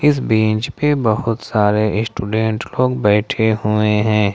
इस बेंच पे बहुत सारे स्टूडेंट लोग बैठे हुए हैं।